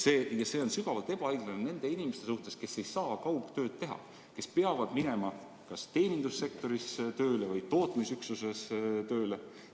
See on sügavalt ebaõiglane nende inimeste suhtes, kes ei saa kaugtööd teha ja peavad minema kas teenindussektorisse või tootmisüksusesse tööle.